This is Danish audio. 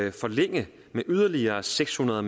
at forlænge med yderligere seks hundrede